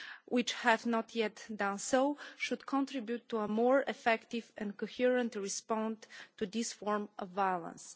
whih have not yet done so should contribute to a more effective and coherent response to this form of violence.